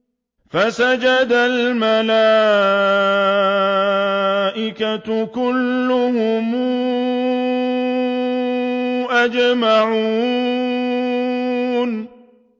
فَسَجَدَ الْمَلَائِكَةُ كُلُّهُمْ أَجْمَعُونَ